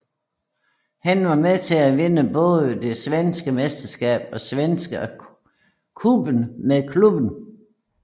Han var med til at vinde både det svenske mesterskab og Svenska Cupen med klubben